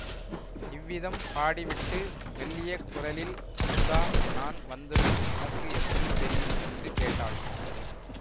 இவ்விதம் பாடிவிட்டு மெல்லிய குரலில் அமுதா நான் வந்தது உனக்கு எப்படி தெரியும் என்று கேட்டாள்